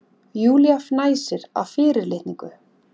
Júlía fnæsir af fyrirlitningu.